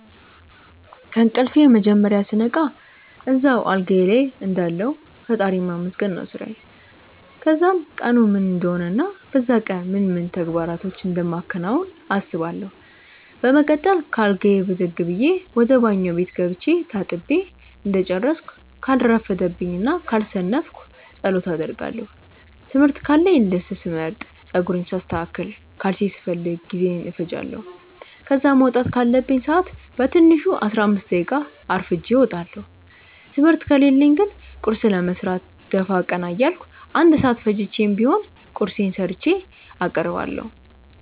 ከእንቅልፌ መጀመርያ ስነቃ እዛው አልጋዬ ልይ እንዳለሁ ፈጣሪን ማመስገን ነው ስራዬ። ከዛም ቀኑ ምን እንደሆነ እና በዛ ቀን ምን ምን ተግባራቶችን እንደማከናውን አስባለው። በመቀጠል ከአልጋዬ ብድግ ብዬ ወደ ባኞ ቤት ገብቼ ተጣጥቤ እንደጨረስኩ ካልረፈደብኝ እና ካልሰነፍኩ ጸሎት አደርጋለው። ትምህርት ካለኝ ልብስ ስመርጥ፣ ጸጉሬን ሳስተካክል፣ ካልሲ ስፈልግ ጊዜዬን እፈጃለው። ከዛ መውጣት ካለብኝ ሰአት በትንሹ 15 ደቂቃ አርፍጄ እወጣለው። ትምህርት ከሌለኝ ግን ቁርስ ለመስራት ደፋ ቀና እያልኩ 1 ሰአት ፈጅቼም ቢሆን ቁርሴን ሰርቼ አቀርባለሁ።